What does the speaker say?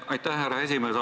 Aitäh, härra esimees!